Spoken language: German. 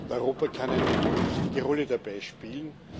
Europa kann eine wichtige Rolle dabei spielen.